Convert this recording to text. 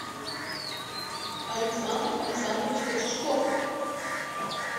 александр александрович кочешков